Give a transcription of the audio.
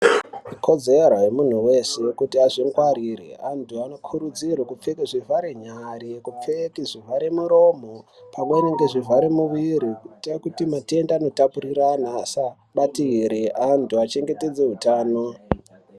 Ikodzero yemuntu weshe kuti azvimgwarire antu anokurudzirwa kupfeka zvivhare nyara kupfeka zvivhare muromo pamweni nezvivhare muwiri kuita kuti matenda anotapuriranwa asa batire antu achengetedze hutano.